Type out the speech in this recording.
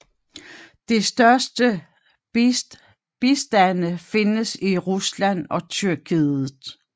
De største bestande findes i Rusland og Tyrkiet